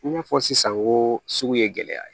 I n'a fɔ sisan ko sugu ye gɛlɛya ye